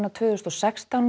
tvö þúsund og sextán